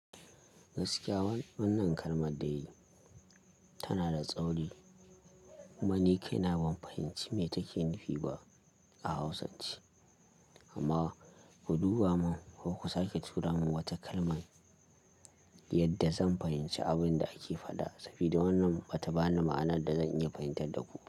Gaskiya wannan kalmar dai ta na da tsauri, kumani kai na ban fahimci me take nufi ba a Hausance, amma ku duba mun ko ku sake tura mun wata kalman yadda zan fahimci abin da ake faɗa, sabida wannan bata bani ma'anar da zan iya fahimtar da ku.